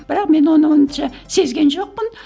бірақ мен оны онша сезген жоқпын